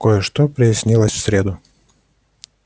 кое-что прояснилось в среду